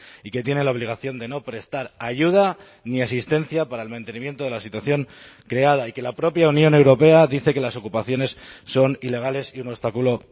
y que tiene la obligación de no prestar ayuda ni asistencia para el mantenimiento de la situación creada y que la propia unión europea dice que las ocupaciones son ilegales y un obstáculo